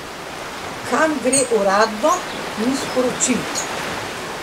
Kam gre, uradno ni sporočil.